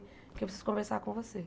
Porque eu preciso conversar com você.